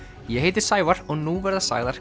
ég heiti Sævar og nú verða sagðar